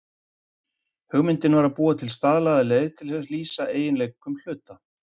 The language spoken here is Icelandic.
Hugmyndin var að búa til staðlaða leið til að lýsa eiginleikum hluta.